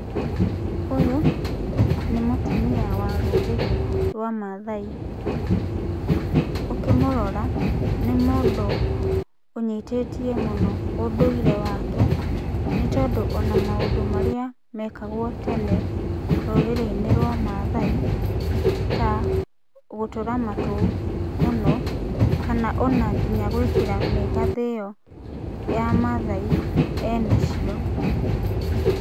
Ũyũ, nĩ mũtumia wa rũrĩrĩ rwa Mathai, ũkĩmũrora, nĩ mũndũ ũnyitĩtie mũno ũndũire wake, nĩtondũ ona maũndũ marĩa mekagwo tene, rũrĩrĩinĩ rwa Mathai, ta gũtũra matũ mũno, kana ona nginya gwĩkĩra mĩgathĩ ĩyo ya Mathai, enacio.